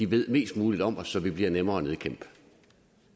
ved mest muligt om os så vi bliver nemmere at nedkæmpe